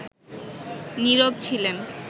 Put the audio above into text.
নীরব ছিলেন